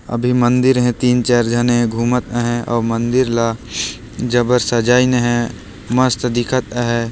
अभी मंदिर हे तीन चार जन हे गुमत हे अउ मंदिर ल जबर सजायहीन हे मस्त दीखत हे।